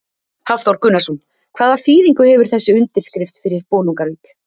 Hafþór Gunnarsson: Hvaða þýðingu hefur þessi undirskrift fyrir Bolungarvík?